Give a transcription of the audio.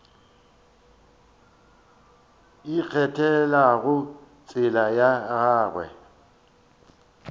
a ikgethelago tsela ya gagwe